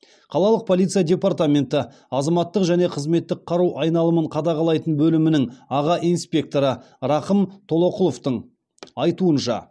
қалалық полиция департаменті азаматтық және қызметтік қару айналымын қадағалайтын бөлімнің аға инспекторы рақым толоқұловтың айтуынша